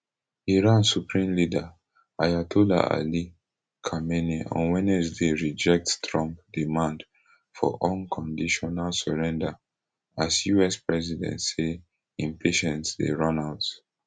iran supreme leader ayatollah ali khamenei on wednesday reject trump demand for unconditional surrender as us president say im patience dey run out